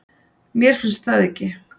Mér finnst það ekki